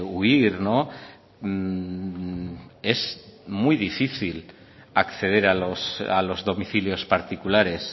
huir es muy difícil acceder a los domicilios particulares